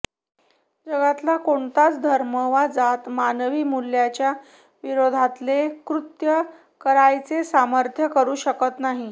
जगातला कोणताच धर्म वा जात मानवी मुल्याच्या विरोधातले कृत्य करायाचे समर्थन करूच शकत नाही